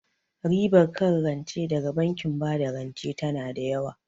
Ribar kan rance daga bankin bada rance tana da yawa